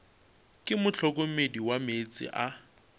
ke mohlokomedi wa meetse a